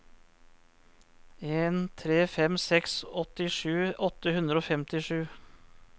en tre fem seks åttisju åtte hundre og femtisju